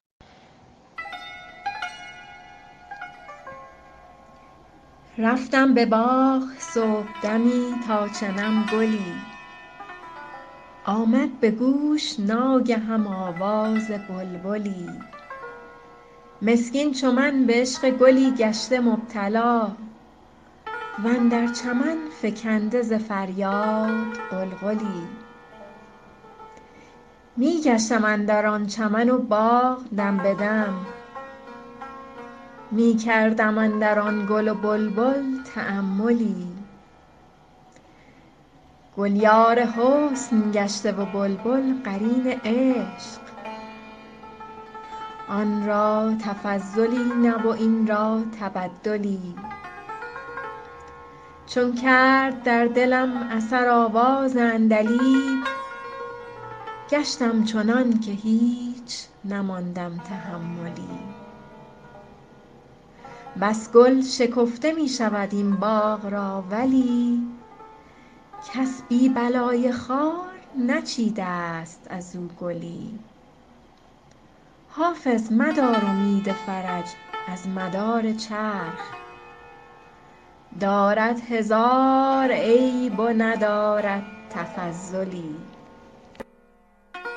رفتم به باغ صبحدمی تا چنم گلی آمد به گوش ناگهم آواز بلبلی مسکین چو من به عشق گلی گشته مبتلا و اندر چمن فکنده ز فریاد غلغلی می گشتم اندر آن چمن و باغ دم به دم می کردم اندر آن گل و بلبل تاملی گل یار حسن گشته و بلبل قرین عشق آن را تفضلی نه و این را تبدلی چون کرد در دلم اثر آواز عندلیب گشتم چنان که هیچ نماندم تحملی بس گل شکفته می شود این باغ را ولی کس بی بلای خار نچیده ست از او گلی حافظ مدار امید فرج از مدار چرخ دارد هزار عیب و ندارد تفضلی